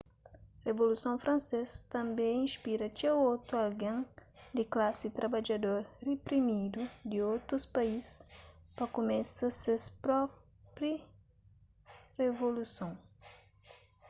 revoluson fransês tanbê inspira txeu otu algen di klasi trabadjador riprimidu di otus país pa kumesa ses própi revoluson